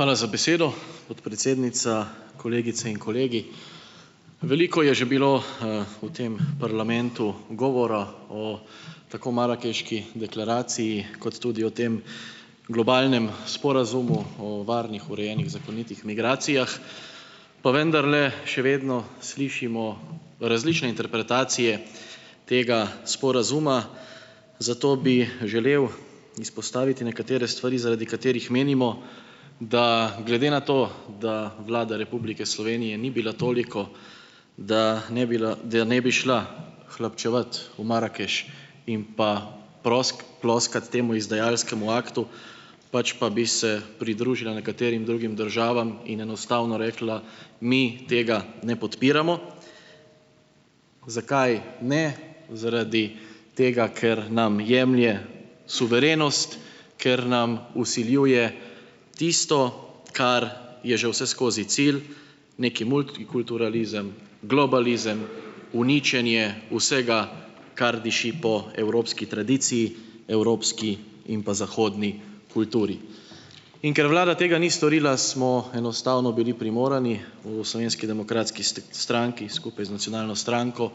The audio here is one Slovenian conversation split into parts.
Hvala za besedo. Podpredsednica, kolegice in kolegi! Veliko je že bilo v tem parlamentu govora o tako Marakeški deklaraciji kot tudi o tem globalnem sporazumu o varnih, urejenih, zakonitih migracijah, pa vendarle še vedno slišimo različne interpretacije tega sporazuma, zato bi želel izpostaviti nekatere stvari, zaradi katerih menimo, da glede na to, da Vlada Republike Slovenije ni bila toliko, da ne bi da ne bi šla hlapčevat v Marakeš in pa ploskat temu izdajalskemu aktu, pač pa bi se pridružila nekaterim drugim državam in enostavno rekla: "Mi tega ne podpiramo." Zakaj ne? Zaradi tega, ker nam jemlje suverenost, ker nam vsiljuje tisto, kar je že vseskozi cilj, neki multikulturalizem, globalizem, uničenje vsega, kar diši po evropski tradiciji, evropski in pa zahodni kulturi. In ker vlada tega ni storila, smo enostavno bili primorani v Slovenski demokratski stranki skupaj z nacionalno stranko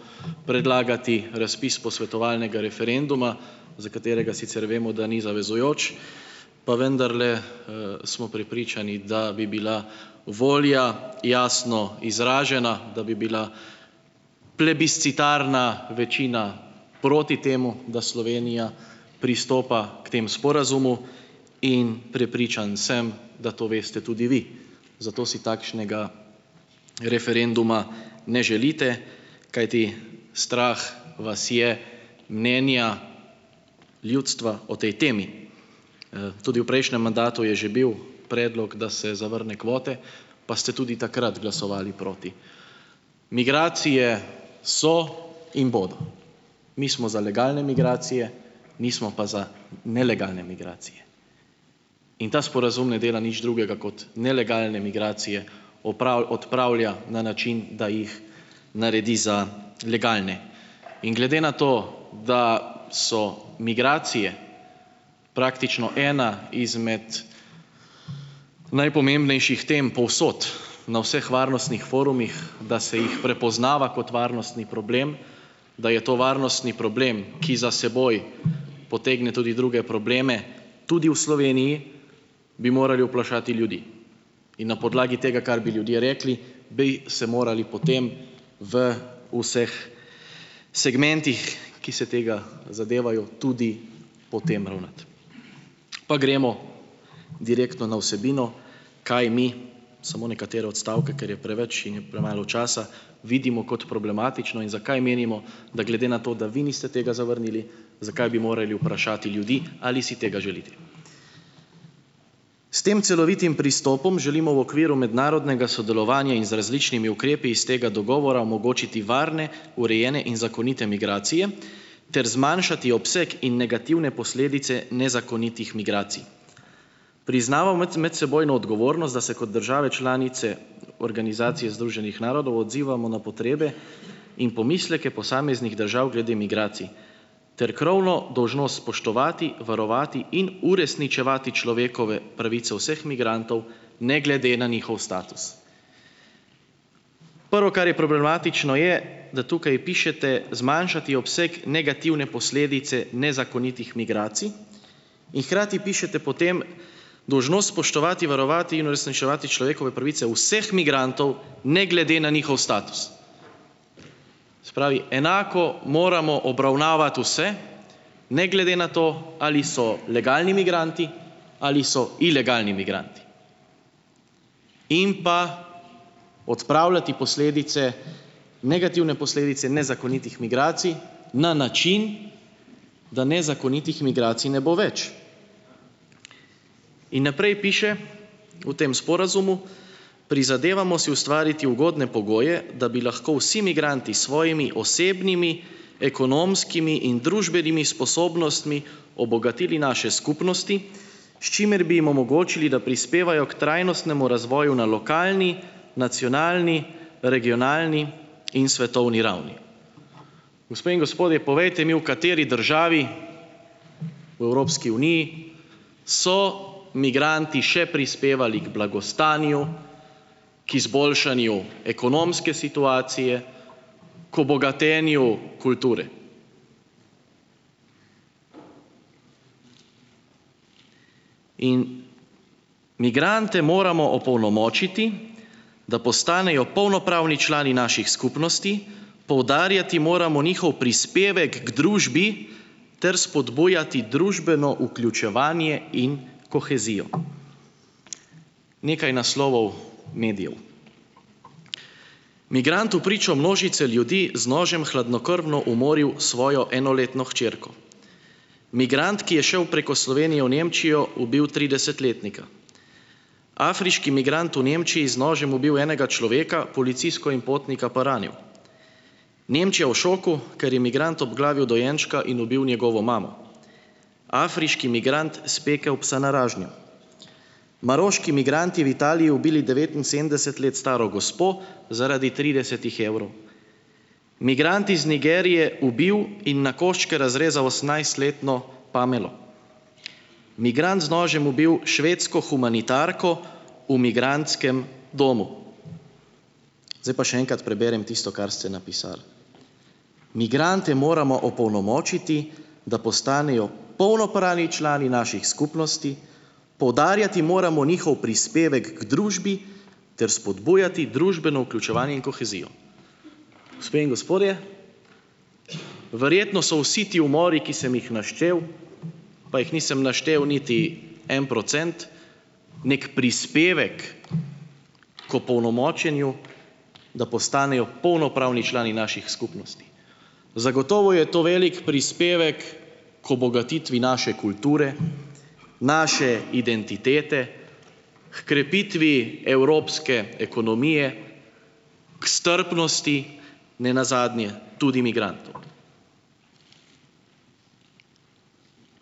predlagati razpis posvetovalnega referenduma, za katerega sicer vemo, da ni zavezujoč, pa vendarle smo prepričani, da bi bila volja jasno izražena, da bi bila plebiscitarna večina proti temu, da Slovenija pristopa k temu sporazumu. In prepričan sem, da to veste tudi vi. Zato si takšnega referenduma ne želite, kajti strah vas je mnenja ljudstva o tej temi. Tudi v prejšnjem mandatu je že bil predlog, da se zavrne kvote, pa ste tudi takrat glasovali proti. Migracije so in bodo. Mi smo za legalne migracije, nismo pa za nelegalne migracije. In ta sporazum ne dela nič drugega, kot nelegalne migracije odpravlja na način, da jih naredi za legalne. In glede na to, da so migracije praktično ena izmed najpomembnejših tem povsod na vseh varnostnih forumih, da se jih prepoznava kot varnostni problem, da je to varnostni problem, ki za seboj potegne tudi druge probleme tudi v Sloveniji, bi morali vprašati ljudi. In na podlagi tega, kar bi ljudje rekli, bi se morali potem v vseh segmentih, ki se tega zadevajo, tudi po tem ravnati. Pa gremo direktno na vsebino, kaj mi, samo nekatere odstavke, ker je preveč in je premalo časa, vidimo kot problematično in zakaj menimo, da glede na to, da vi niste tega zavrnili, zakaj bi morali vprašati ljudi, ali si tega želite. "S tem celovitim pristopom želimo v okviru mednarodnega sodelovanja in z različnimi ukrepi iz tega dogovora omogočiti varne, urejene in zakonite migracije ter zmanjšati obseg in negativne posledice nezakonitih migracij. Priznavamo medsebojno odgovornost, da se kot države članice Organizacije združenih narodov odzivamo na potrebe in pomisleke posameznih držav glede migracij, ter krovno dolžnost spoštovati, varovati in uresničevati človekove pravice vseh migrantov ne glede na njihov status." Prvo, kar je problematično, je, da tukaj pišete: "Zmanjšati obseg negativne posledice nezakonitih migracij." In hkrati pišete potem: "Dolžnost spoštovati, varovati in uresničevati človekove pravice vseh migrantov ne glede na njihov status." Se pravi, enako moramo obravnavati vse ne glede na to, ali so legalni migranti ali so ilegalni migranti. In pa odpravljati posledice, negativne posledice nezakonitih migracij na način, da nezakonitih migracij ne bo več. In naprej piše v tem sporazumu: "Prizadevamo si ustvariti ugodne pogoje, da bi lahko vsi migranti s svojimi osebnimi, ekonomskimi in družbenimi sposobnostmi obogatili naše skupnosti, s čimer bi jim omogočili, da prispevajo k trajnostnemu razvoju na lokalni, nacionalni, regionalni in svetovni ravni." Gospe in gospodje, povejte mi, v kateri državi v Evropski uniji so migranti še prispevali k blagostanju, k izboljšanju ekonomske situacije, k obogatenju kulture? In migrante moramo opolnomočiti, da postanejo polnopravni člani naših skupnosti, poudarjati moramo njihov prispevek k družbi ter spodbujati družbeno vključevanje in kohezijo. Nekaj naslovov medijev. "Migrant vpričo množice ljudi z nožem hladnokrvno umoril svojo enoletno hčerko", "Migrant, ki je šel preko Slovenije v Nemčijo, ubil trideset- letnika", "Afriški migrant v Nemčiji z nožem ubil enega človeka, policistko in potnika pa ranil", "Nemčija v šoku, ker je migrant obglavil dojenčka in ubil njegovo mamo", "Afriški migrant spekel psa na ražnju", "Maroški migranti v Italiji ubili devetinsedemdeset let staro gospo zaradi tridesetih evrov", "Migrant iz Nigerije ubil in na koščke razrezal osemnajst-letno Pamelo", "Migrant z nožem ubil švedsko humanitarko v migrantskem domu". Zdaj pa še enkrat preberem tisto, kar ste napisali: "Migrante moramo opolnomočiti, da postanejo polnopravni člani naših skupnosti, poudarjati moramo njihov prispevek k družbi ter spodbujati družbeno vključevanje in kohezijo." Gospe in gospodje, verjetno so vsi ti umori, ki sem jih naštel, pa jih nisem naštel niti en procent, neki prispevek k opolnomočenju, da postanejo polnopravni člani naših skupnosti. Zagotovo je to velik prispevek k obogatitvi naše kulture, naše identitete, h krepitvi evropske ekonomije, k strpnosti, ne nazadnje tudi migrantov.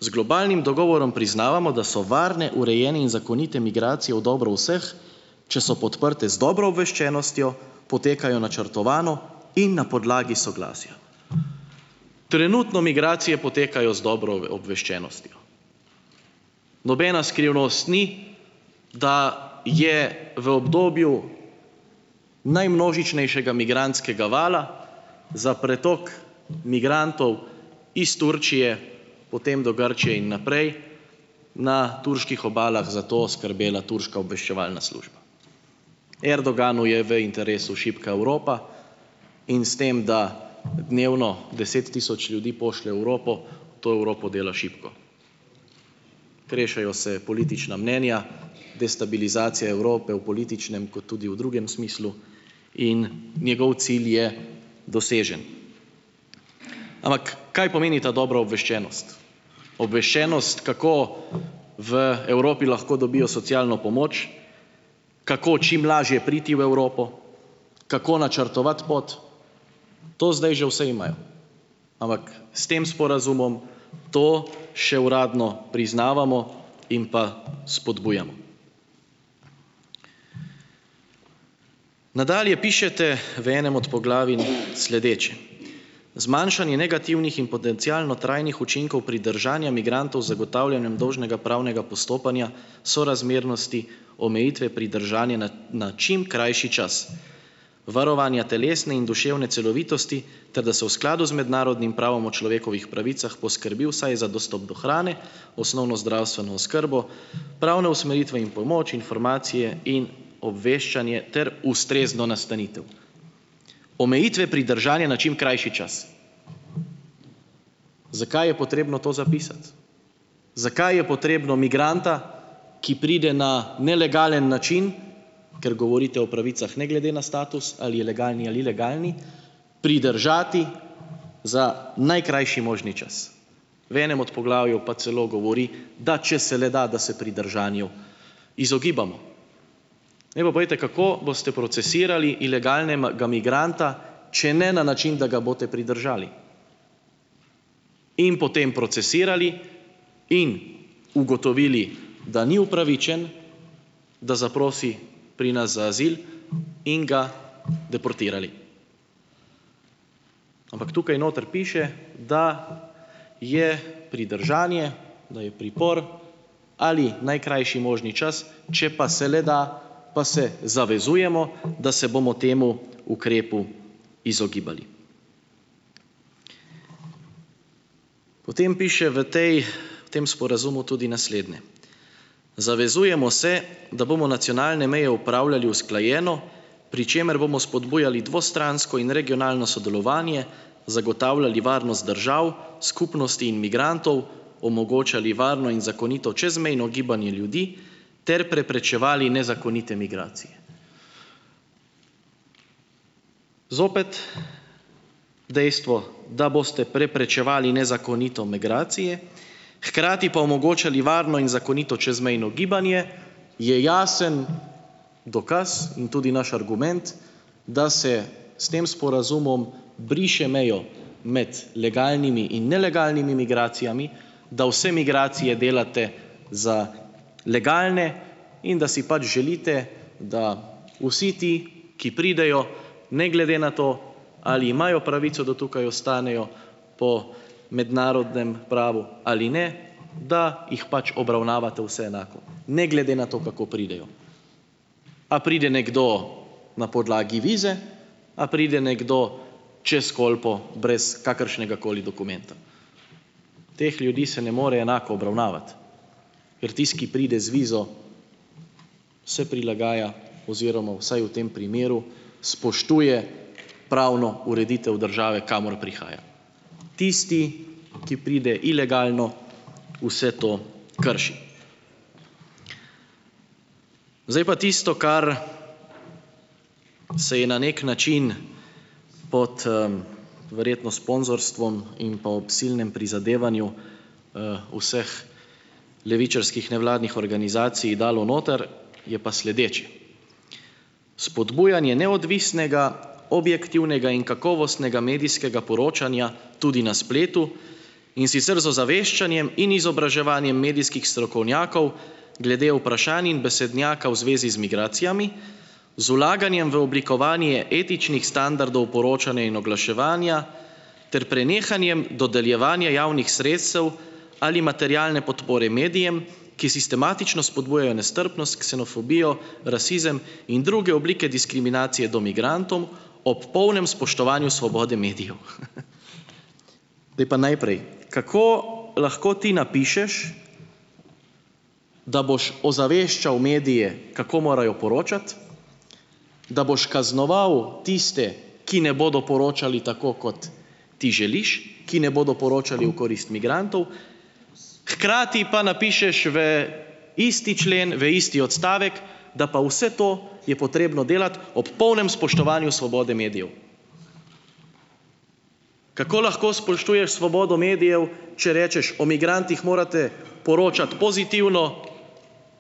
"Z globalnim dogovorom priznavamo, da so varne, urejene in zakonite migracije v dobro vseh, če so podprte z dobro obveščenostjo, potekajo načrtovano in na podlagi soglasja." Trenutno migracije potekajo z dobro obveščenostjo. Nobena skrivnost ni, da je v obdobju najmnožičnejšega migrantskega vala za pretok migrantov iz Turčije potem do Grčije in naprej na turških obalah za to skrbela turška obveščevalna služba. Erdoganu je v interesu šibka Evropa in s tem, da dnevno deset tisoč ljudi pošlje v Evropo, to Evropo dela šibko. Krešejo se politična mnenja, destabilizacija Evrope v političnem kot tudi v drugem smislu, in njegov cilj je dosežen. Ampak kaj pomeni ta dobra obveščenost? Obveščenost. kako v Evropi lahko dobijo socialno pomoč, kako čim lažje priti v Evropo, kako načrtovati pot, to zdaj že vse imajo. Ampak s tem sporazumom to še uradno priznavamo in pa spodbujamo. Nadalje pišete v enem od poglavij sledeče : "Zmanjšanje negativnih in potencialno trajnih učinkov pridržanja migrantov z zagotavljanjem dolžnega pravnega postopanja, sorazmernosti, omejitve pridržanja na na čim krajši čas, varovanja telesne in duševne celovitosti ter da se v skladu z mednarodnim pravom o človekovih pravicah poskrbi vsaj za dostop do hrane, osnovno zdravstveno oskrbo, pravne usmeritve in pomoč, informacije in obveščanje ter ustrezno nastanitev." Omejitve pridržanja na čim krajši čas. Zakaj je potrebno to zapisati? Zakaj je potrebno migranta, ki pride na nelegalen način, ker govorite o pravicah ne glede na status, ali je legalni ali ilegalni, pridržati za najkrajši možni čas, v enem od poglavju pa celo govori, da če se le da, da se pridržanju izogibamo. Zdaj pa povejte, kako boste procesirali ilegalnega migranta, če ne na način, da ga boste pridržali. In potem procesirali in ugotovili, da ni upravičen, da zaprosi pri nas za azil, in ga deportirali. Ampak tukaj noter piše, da je pridržanje, da je pripor ali najkrajši možni čas, če pa se le da, pa se zavezujemo, da se bomo temu ukrepu izogibali. Potem piše v tej v tem sporazumu tudi naslednje: "Zavezujemo se, da bomo nacionalne meje upravljali usklajeno, pri čemer bomo spodbujali dvostransko in regionalno sodelovanje, zagotavljali varnost držav, skupnosti in migrantov, omogočali varno in zakonito čezmejno gibanje ljudi ter preprečevali nezakonite migracije." Zopet dejstvo, da boste preprečevali nezakonito migracije, hkrati pa omogočali varno in zakonito čezmejno gibanje, je jasen dokaz in tudi naš argument, da se s tem sporazumom briše mejo med legalnimi in nelegalnimi migracijami, da vse migracije delate za legalne in da si pač želite, da vsi ti, ki pridejo ne glede na to ali imajo pravico, da tukaj ostanejo, po mednarodnem pravu ali ne, da jih pač obravnavate vse enako, ne glede na to, kako pridejo. A pride nekdo na podlagi vize, a pride nekdo čez Kolpo brez kakršnegakoli dokumenta. Teh ljudi se ne more enako obravnavati, ker tisti, ki pride z vizo, se prilagaja oziroma vsaj v tem primeru spoštuje pravno ureditev države, kamor prihaja. Tisti, ki pride ilegalno, vse to krši. Zdaj pa tisto, kar se je na neki način pod verjetno sponzorstvom in pa ob silnem prizadevanju vseh levičarskih nevladnih organizacij dalo noter, je pa sledeče: "Spodbujanje neodvisnega, objektivnega in kakovostnega medijskega poročanja tudi na spletu, in sicer z ozaveščanjem in izobraževanjem medijskih strokovnjakov glede vprašanj in besednjaka v zvezi z migracijami, z vlaganjem v oblikovanje etičnih standardov poročanja in oglaševanja ter prenehanjem dodeljevanja javnih sredstev ali materialne podpore medijem, ki sistematično spodbujajo nestrpnost, ksenofobijo, rasizem in druge oblike diskriminacije do migrantov, ob polnem spoštovanju svobode medijev." Zdaj pa najprej, kako lahko ti napišeš, da boš ozaveščal medije, kako morajo poročati, da boš kaznoval tiste, ki ne bodo poročali tako, kot ti želiš, ki ne bodo poročali u korist migrantov, hkrati pa napišeš v isti člen, v isti odstavek, da pa vse to je potrebno delati ob polnem spoštovanju svobode medijev. Kako lahko spoštuješ svobodo medijev, če rečeš: "O migrantih morate poročati pozitivno,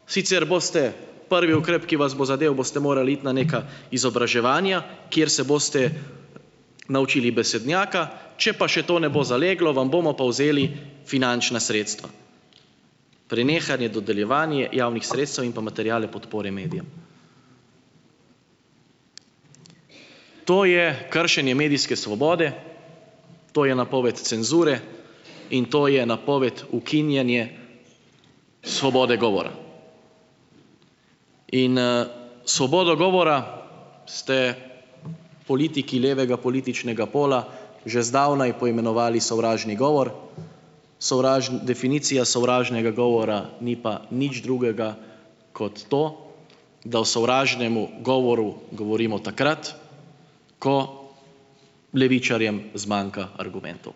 sicer boste, prvi ukrep, ki vas bo zadel, boste morali iti na neka izobraževanja, kjer se boste naučili besednjaka, če pa še to ne bo zaleglo, vam bomo pa vzeli finančna sredstva." Prenehanje, dodeljevanje javnih sredstev in pa materialne podpore medijem. To je kršenje medijske svobode, to je napoved cenzure in to je napoved ukinjanja svobode govora, in svobodo govora ste politiki levega političnega pola že zdavnaj poimenovali sovražni govor. definicija sovražnega govora ni pa nič drugega kot to, da o sovražnemu govoru govorimo takrat, ko levičarjem zmanjka argumentov.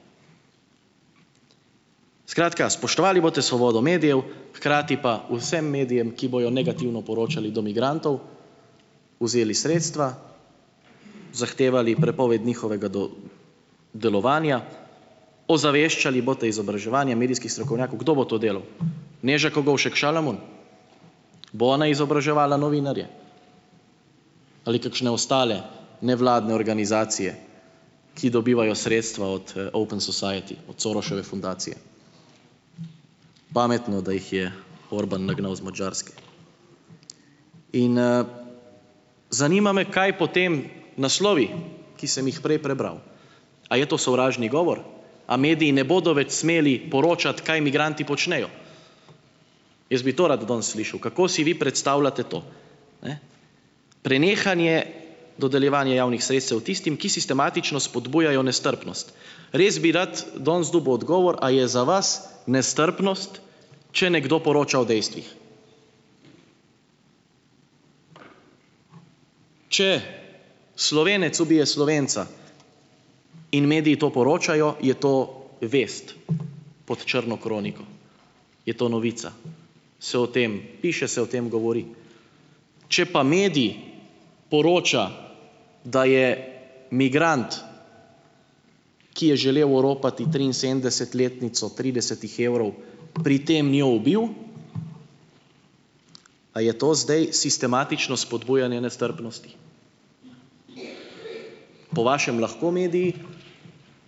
Skratka, spoštovali boste svobodo medijev, hkrati pa vsem medijem, ki bojo negativno poročali do migrantov, vzeli sredstva, zahtevali prepoved njihovega delovanja, ozaveščali boste izobraževanje medijskih strokovnjakov - kdo bo to delal? Neža Kogovšek Šalamun? Bo ona izobraževala novinarje? Ali kakšne ostale nevladne organizacije, ki dobivajo sredstva od Open society, od Soroseve fundacije? Pametno, da jih je Orbán nagnal iz Madžarske. In zanima me, kaj potem naslovi, ki sem jih prej prebral? A je to sovražni govor? A mediji ne bodo več smeli poročati, kaj migranti počnejo? Jaz bi to rad danes slišal, kako si vi predstavljate to, ne. Prenehanje dodeljevanja javnih sredstev tistim, ki sistematično spodbujajo nestrpnost. Res bi rad danes dobil odgovor, a je za vas nestrpnost, če nekdo poroča o dejstvih? Če Slovenec ubije Slovenca, in mediji to poročajo, je to vest pod črno kroniko, je to novica, se o tem piše, se o tem govori. Če pa medij poroča, da je migrant, ki je želel oropati triinsedemdesetletnico tridesetih evrov, pri tem jo ubil, a je to zdaj sistematično spodbujanje nestrpnosti? Po vašem lahko mediji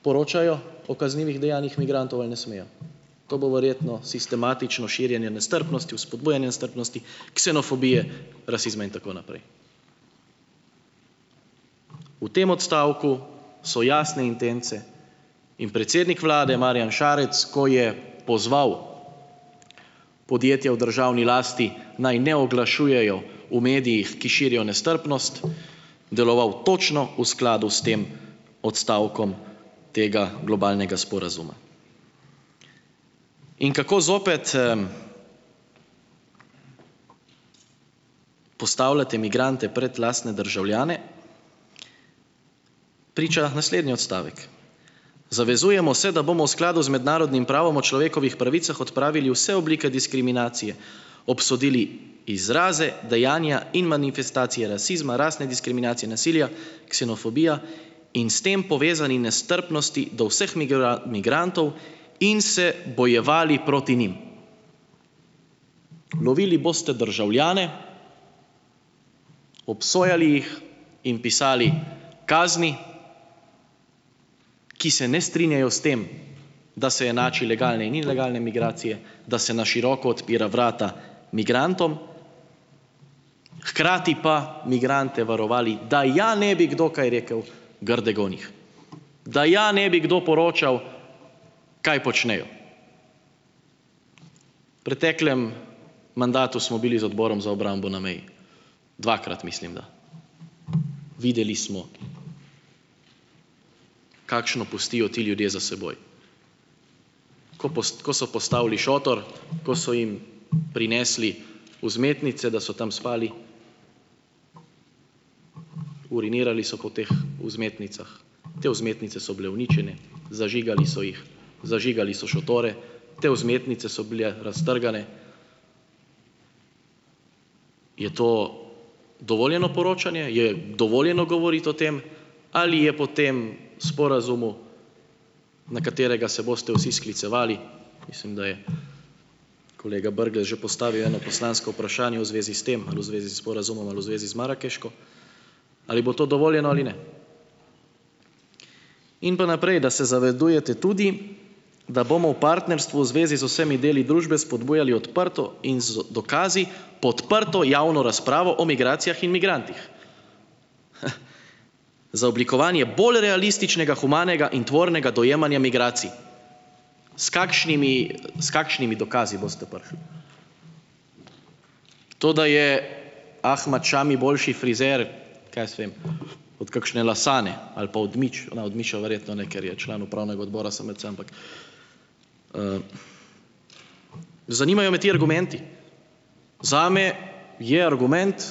poročajo o kaznivih dejanjih migrantov ali ne smejo? To bo verjetno sistematično širjenje nestrpnosti, vzpodbujanje nestrpnosti, ksenofobije, rasizma in tako naprej. V tem odstavku so jasne intence in predsednik vlade Marjan Šarec, ko je pozval podjetja v državni lasti, naj ne oglašujejo v medijih, ki širijo nestrpnost, deloval točno v skladu s tem odstavkom tega globalnega sporazuma. In kako zopet postavljate migrante pred lastne državljane, priča naslednji odstavek: "Zavezujemo se, da bomo v skladu z mednarodnim pravom o človekovih pravicah odpravili vse oblike diskriminacije, obsodili izraze, dejanja in manifestacije rasizma, rasne diskriminacije, nasilja, ksenofobije in s tem povezani nestrpnosti do vseh migrantov in se bojevali proti njim." Lovili boste državljane, obsojali jih in pisali kazni, ki se ne strinjajo s tem, da se enači legalne in ilegalne migracije, da se na široko odpira vrata migrantom, hkrati pa migrante varovali, da ja ne bi kdo kaj rekel grdega o njih, da ja ne bi kdo poročal, kaj počnejo. V preteklem mandatu smo bili z Odborom za obrambo na meji. Dvakrat mislim da. Videli smo, kakšno pustijo ti ljudje za seboj - ko ko so postavili šotor, ko so jim prinesli vzmetnice, da so tam spali, urinirali so po teh vzmetnicah, te vzmetnice so bile uničene, zažigali so jih, zažigali so šotore, te vzmetnice so bile raztrgane - je to dovoljeno poročanje? Je dovoljeno govoriti o tem? Ali je po tem sporazumu, na katerega se boste vsi sklicevali - mislim, da je kolega Brglez že postavil eno poslansko vprašanje v zvezi s tem ali v zvezi s sporazumom ali v zvezi z Marakeško - ali bo to dovoljeno ali ne? In pa naprej, da se "zavedujete" tudi, da bomo v partnerstvu v zvezi z vsemi deli družbe spodbujali odprto in z dokazi podprto javno razpravo o migracijah in migrantih, za oblikovanje bolj realističnega, humanega in tvornega dojemanja migracij. S kakšnimi s kakšnimi dokazi boste prišli? To, da je Ahmad Šami boljši frizer, kaj jaz vem, od kakšne Lasane ali pa od Mič, no od Miša verjetno ne, ker je član upravnega odbora SMC, ampak, zanimajo me ti argumenti. Zame je argument,